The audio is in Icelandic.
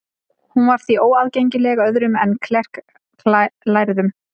Hún var því óaðgengileg öðrum en klerklærðum.